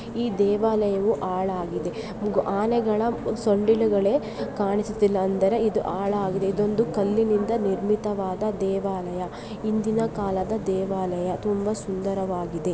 ಈ ದೇವಾಲಯವು ಆಳಾಗಿದೆ ಆನೆಗಳು ಸೊಂಡಿಲುಗಳೆ ಕಾಣಿಸುತ್ತಿಲ್ಲ ಎಂದರೆ ಇದು ಆಳಾಗಿದೆ ಇದೊಂದು ಕಲ್ಲಿನಿಂದ ನಿರ್ಮಿತವಾದ ದೇವಾಲಯ ಹಿಂದಿನ ಕಾಲದ ದೇವಾಲಯ ತುಂಬಾ ಸುಂದರವಾಗಿದೆ